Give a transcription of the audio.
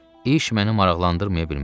İş məni maraqlandırmaya bilməzdi.